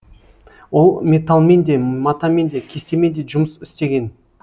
ол металлмен де матамен де кестемен де жұмыс істеген